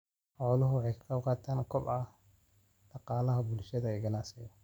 Xooluhu waxay ka qaybqaataan kobaca dhaqaalaha bulshada iyo ganacsiga.